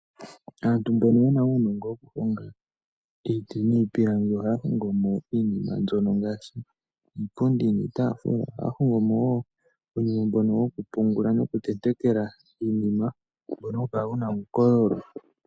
Aantu mbono yena uunongo woku honga iiti niipilangi ohaya hongo mo iinima mbyono ngaashi iipundi niitafula . Ohaya hongomo wo uunima mbono woku pungula noku tentekela iinima mbono hawu kala wuna uukololo.